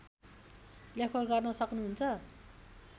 लेखपढ गर्न सक्नुहुन्छ